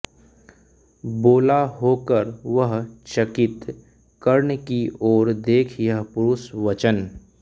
बोला होकर वह चकित कर्ण की ओर देख यह परुष वचन